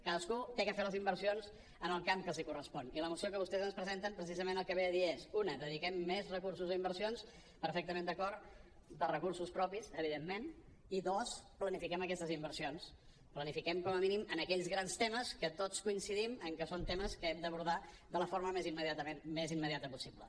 cadascú ha de fer les inversions en el camp que els correspon i la moció que vostès ens presenten precisament el que ve a dir és una dediquem més recursos a inversions perfectament d’acord de recursos propis evidentment i dos planifiquem aquestes inversions planifiquem com a mínim en aquells grans temes en què tots coincidim que són temes que hem d’abordar de la forma més immediata possible